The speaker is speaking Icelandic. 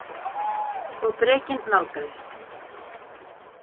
Og drekinn nálgaðist.